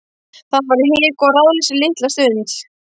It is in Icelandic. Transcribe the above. Það var hik og ráðleysi litla stund.